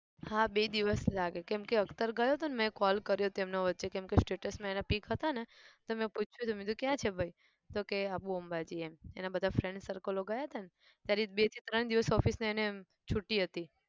હા બે દિવસ લાગે કેમ કે અખ્તર ગયો હતો ને મે call કર્યો હતો તેમને વચ્ચે કેમકે status માં એના pic હતા ને તો મેં પૂછ્યું હતું કે કયા છે ભાઈ તો કહે આબુ અંબાજી એમ એના બધા friend circle ગયા હતા ત્યારે એ બે થી ત્રણ દિવસ office એને છુટી હતી.